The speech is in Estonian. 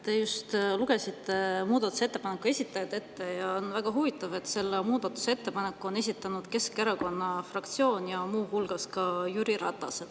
Te just lugesite ette muudatusettepanku esitajad ja on väga huvitav, et selle muudatusettepaneku on esitanud Keskerakonna fraktsioon ja muu hulgas ka Jüri Ratas.